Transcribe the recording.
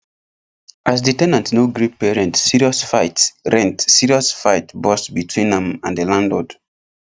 as the ten ant no gree pay rent serious fight rent serious fight burst between am and the landlord